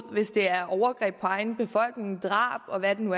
hvis det er overgreb på egen befolkning drab og hvad det nu